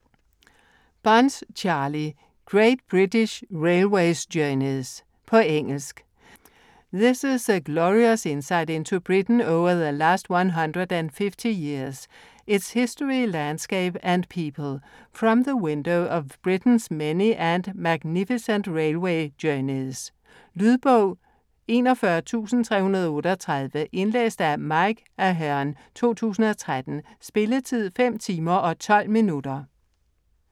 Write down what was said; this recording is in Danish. Bunce, Charlie: Great British railway journeys På engelsk. This is a glorious insight into Britain over the last 150 years - its history, landscape and people - from the window of Britain's many and magnificent railway journeys. Lydbog 41338 Indlæst af Mike Aherne, 2013. Spilletid: 5 timer, 12 minutter.